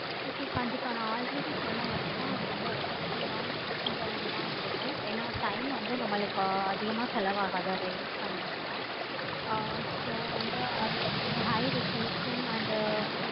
okay நா already சொன்ன மாதிரி தான் அது ரொம்ப effective ஆகவும் efficient ஆகவும் இருக்கு. ஏனா time வந்து நம்மளுக்கு அதிகமா ஆகாது அத use பண்ணோம்னா ஆஹ் so வந்து அது ஒரு high resolution and